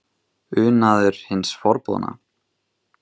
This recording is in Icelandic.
Unaður hins forboðna?